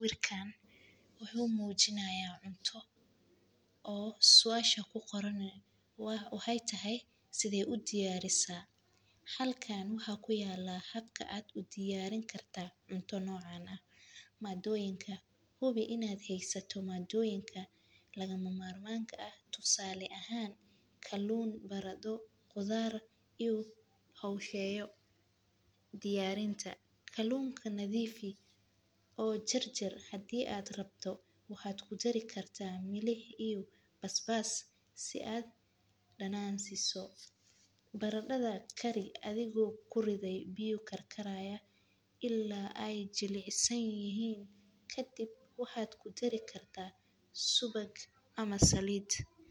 Sawiirkaan wuxuu mujinaaya cunto oo suasha kuqoran waxaay tahay sidee udiyaarisa, halkan waxaa kuyaala habka aad udiyaarin kartid cunto nocaan ah, madooyinka hubi inaad haysato madooyinka lagama maarmaanka ah, tusaale ahaan kaluun barado qudaar iyo hosheeyo, diyaarinta, kaluunka diyaari oo jarjar hadii aad rabto waxaad kudari kartaa milix iyo basbas si aad danaan usiiso, barada kari adigo kuridaayo biya ila aay jilcaan kadib waxaad kudari kartaa subag ama saliid.